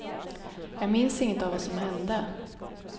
Jag minns inget av vad som hände.